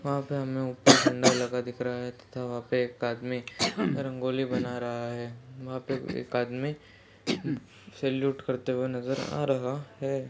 वहाॅं पर हमें ऊपर झंडा लगा दिख रहा है तथा वहाॅं पर एक आदमी रंगोली बना रहा है वहाॅं पर एक आदमी सेलूट करते हुए नजर आ रहा है।